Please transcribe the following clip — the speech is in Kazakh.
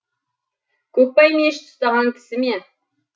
көкпай мешіт ұстаған кісі ме